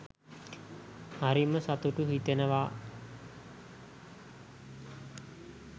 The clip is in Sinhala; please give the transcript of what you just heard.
හරිම සතුටු හිතෙනවා